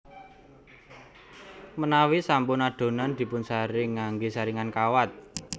Menawi sampun adonan dipunsaring nganggé saringan kawat